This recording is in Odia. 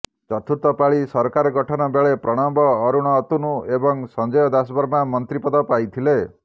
ଚତୁର୍ଥ ପାଳି ସରକାର ଗଠନ ବେଳେ ପ୍ରଣବ ଅରୁଣ ଅତନୁ ଏବଂ ସଞ୍ଜୟ ଦାସବର୍ମା ମନ୍ତ୍ରୀ ପଦ ପାଇଥିଲେ